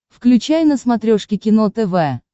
включай на смотрешке кино тв